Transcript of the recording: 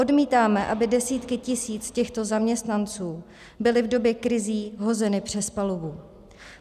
Odmítáme, aby desítky tisíc těchto zaměstnanců byly v době krizí hozeny přes palubu.